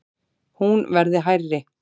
Hún verði hærri.